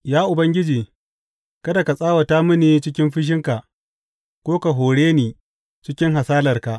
Ya Ubangiji, kada ka tsawata mini cikin fushinka ko ka hore ni cikin hasalarka.